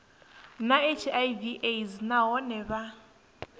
na hiv aids nahone vha